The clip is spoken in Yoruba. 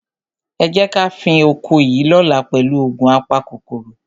Ẹ jẹ́ ká fín oko yìí lọ́la pẹ̀lú òògun apakòkòrò.